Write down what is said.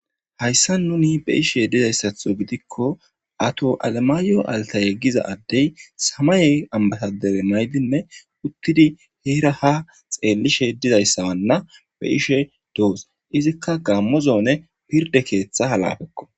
Hayssa nuni be ishe dizayssatho gidikko ato alamaayo altayeggiza addey samaye ambatadere naydinne uttidi heera ha xeellishe dizayssawanna be ishe doos izikka gaammozoone pirde keeththa halafekko